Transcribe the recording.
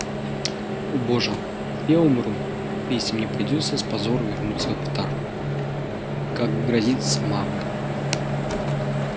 о боже я умру если мне придётся с позором вернуться в тару как грозится мама